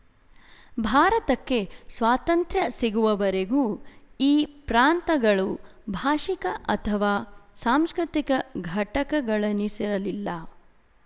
ಭಾರತಕ್ಕೆ ಸ್ವಾತಂತ್ರ್ಯ ಸಿಗುವವರೆಗೂ ಈ ಪ್ರಾಂತಗಳು ಭಾಶಿಕ ಅಥವಾ ಸಾಂಸ್ಕೃತಿಕ ಘಟಕಗಳೆನಿಸಿರಲಿಲ್ಲ